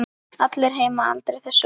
Allir heima aldrei þessu vant.